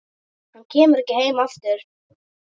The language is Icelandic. Hann kemur ekki heim aftur.